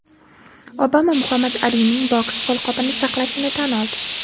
Obama Muhammad Alining boks qo‘lqopini saqlashini tan oldi.